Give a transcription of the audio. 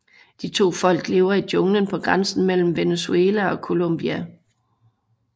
De to folk lever i junglen på grænsen mellem Venezuela og Colombia